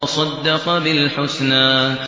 وَصَدَّقَ بِالْحُسْنَىٰ